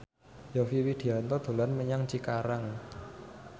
Yovie Widianto dolan menyang Cikarang